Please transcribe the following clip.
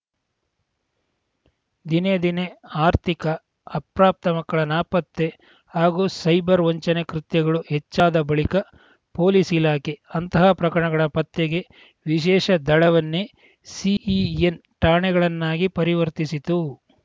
ದಿನೇ ದಿನೇ ಆರ್ಥಿಕ ಅಪ್ರಾಪ್ತ ಮಕ್ಕಳ ನಾಪತ್ತೆ ಹಾಗೂ ಸೈಬರ್‌ ವಂಚನೆ ಕೃತ್ಯಗಳು ಹೆಚ್ಚಾದ ಬಳಿಕ ಪೊಲೀಸ್‌ ಇಲಾಖೆ ಅಂತಹ ಪ್ರಕರಣಗಳ ಪತ್ತೆಗೆ ವಿಶೇಷ ದಳವನ್ನೇ ಸಿಇಎನ್‌ ಠಾಣೆಗಳನ್ನಾಗಿ ಪರಿವರ್ತಿಸಿತು